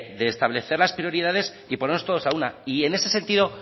de establecer las prioridades y ponernos todos a una y en ese sentido